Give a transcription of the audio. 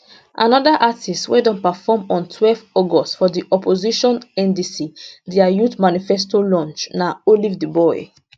anoda artiste wey don perform on twelve august for di opposition ndc dia youth manifesto launch na olivetheboy